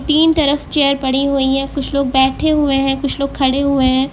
तीन तरफ चेयर पड़ी हुई हैं कुछ लोग बैठे हुए हैं कुछ लोग खड़े हुए हैं।